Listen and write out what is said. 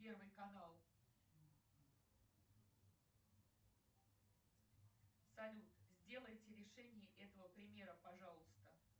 первый канал салют сделайте решение этого примера пожалуйста